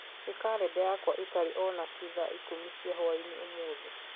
Nĩ karenda yakwa ĩtarĩ o nakĩĩ thaa ikũmi cia hwaĩinĩ ũmũthĩ